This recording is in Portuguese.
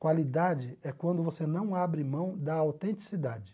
Qualidade é quando você não abre mão da autenticidade.